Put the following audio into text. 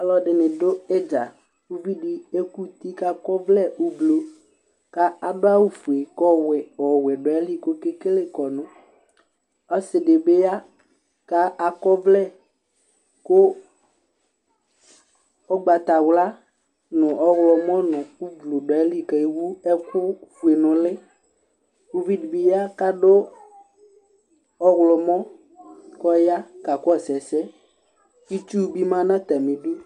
Ɔlɔdɩnɩ dʋ ɩdza Uvi dɩ ekuti kʋ akɔ ɔvlɛ ʋblʋ, kʋ adu awʋfue kʋ ɔwɛ dʋ ayili kʋ okekele kɔnʋ Ɔsɩ dɩ bɩ ya kʋ akɔ ɔvlɛ kʋ ugbatawla, nʋ ɔɣlɔmɔ nʋ ʋblʋ dʋ ayili, kʋ ewu ɛkʋfue nʋ ʋlɩ Uvi dɩbɩ ya kʋ adu ɔɣlɔmɔ kʋ ɔya kakɔsʋ ɛsɛ Itsu bɩ ma nʋ atamɩ idu